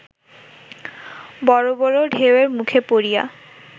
বড় বড় ঢেউয়ের মুখে পড়িয়া